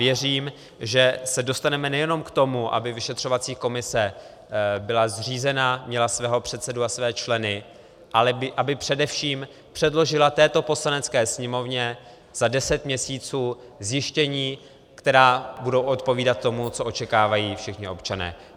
Věřím, že se dostaneme nejenom k tomu, aby vyšetřovací komise byla zřízena, měla svého předsedu a své členy, ale aby především předložila této Poslanecké sněmovně za deset měsíců zjištění, která budou odpovídat tomu, co očekávají všichni občané.